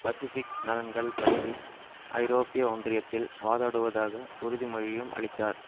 Pacific நலன்கள் பற்றி ஐரோப்பிய ஒன்றியத்தில் வாதாடுவதாக உறுதி மொழியையும் அளித்தார்